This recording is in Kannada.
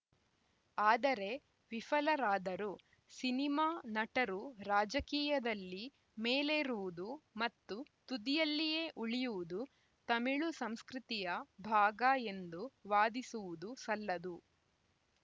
ಆದರೆ ವಿಫಲರಾದರು ಸಿನಿಮಾ ನಟರು ರಾಜಕೀಯದಲ್ಲಿ ಮೇಲೇರುವುದು ಮತ್ತು ತುದಿಯಲ್ಲಿಯೇ ಉಳಿಯುವುದು ತಮಿಳು ಸಂಸ್ಕೃತಿಯ ಭಾಗ ಎಂದು ವಾದಿಸುವುದೂ ಸಲ್ಲದು